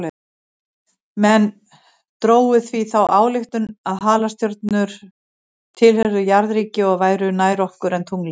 Menn drógu því þá ályktun að halastjörnur tilheyrðu jarðríki og væru nær okkur en tunglið.